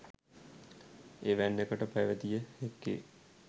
එවැන්නකට පැවතිය හැක්කේ